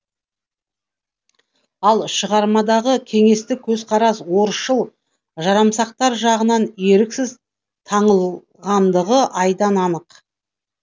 ал шығармадағы кеңестік көзқарас орысшыл жарамсақтар жағынан еріксіз таңылғандығы айдан анық